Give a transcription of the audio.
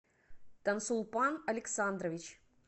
тансулпан александрович